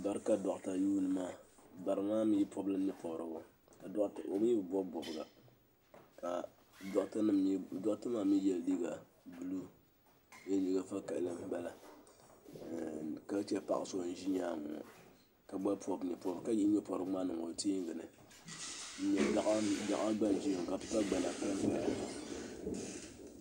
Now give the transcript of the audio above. Bara ka dɔkta yuuni maa bara maa mi pɔbi la nyɛ pɔbirigu o lee bi bɔbi bɔbga ka dɔkta maa mi yɛ liiga vakahili ka che paɣa so n ʒi nyaanga ŋɔ ka yihi nyɛ pɔbirigu maa niŋ o teengi ni gaɣa gba ʒimi ka pipa gbana pa n paya.